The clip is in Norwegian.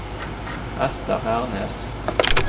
Esther Hernes